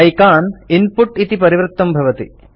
icon input इति परिवृत्तं भवति